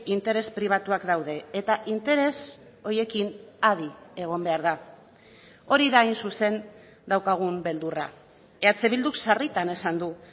interes pribatuak daude eta interes horiekin adi egon behar da hori da hain zuzen daukagun beldurra eh bilduk sarritan esan du